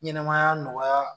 Ɲɛmaya nɔgɔya